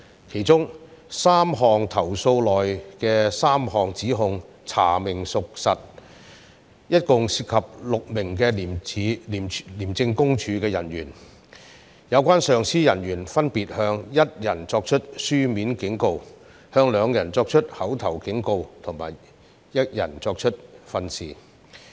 其中3宗投訴內的3項指控查明屬實，共涉及4名廉政公署人員，有關上級人員分別向當中1人作出書面警告、2人作出口頭警告及1人作出訓示。